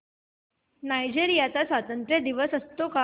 Nigeria चा स्वातंत्र्य दिन असतो का